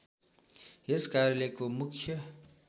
यस कार्यालयको मुख्य